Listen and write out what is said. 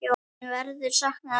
Þín verður saknað, elsku afi.